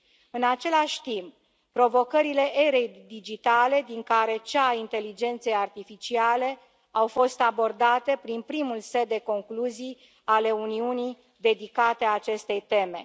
În același timp, provocările erei digitale, din care cea a inteligenței artificiale, au fost abordate prin primul set de concluzii ale Uniunii, dedicate acestei teme.